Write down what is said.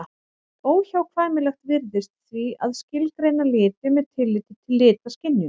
Óhjákvæmilegt virðist því að skilgreina liti með tilliti til litaskynjunar.